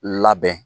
Labɛn